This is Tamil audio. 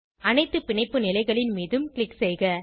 அனைத்து பிணைப்பு நிலைகளின் மீதும் க்ளிக் செய்க